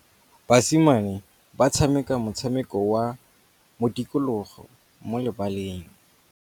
Basimane ba tshameka motshameko wa modikologô mo lebaleng.